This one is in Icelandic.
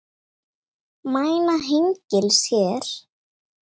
Mæna hengils hér.